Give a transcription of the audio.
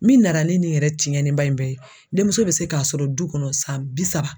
Min nana ni nin yɛrɛ tiɲɛniba in bɛɛ ye demuso bɛ se k'a sɔrɔ du kɔnɔ san bi saba